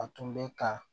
A tun bɛ ka